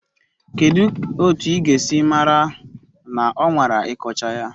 Kedu otu ị ga-esi mara na ọ nwara ịkọcha ya?